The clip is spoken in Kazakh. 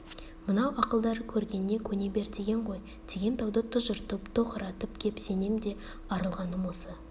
мынау ақылдары көргеніне көне бер деген ғой деген дауды тұжыртып тоқыратып кеп сенен де арылғаным осы